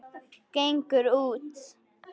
Gengur út.